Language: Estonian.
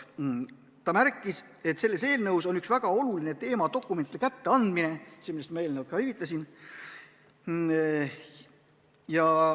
Esindaja märkis, et selles eelnõus on üks väga oluline teema: dokumentide kätteandmine, millele ma juba viitasin.